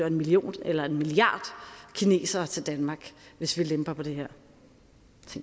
en million eller en milliard kinesere til danmark hvis vi lemper på det her